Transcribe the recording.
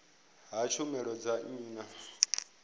ha tshumelo dza nnyi na